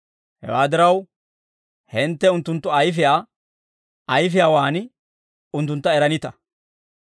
Hewaa diraw, hintte unttunttu ayfiyaa ayfiyaawaan unttuntta eranita.